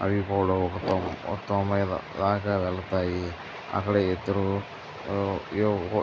అవి కూడా ఒక మొత్తం మీద రాగ వెళతాయి. అక్కడ ఇద్దరు ఆ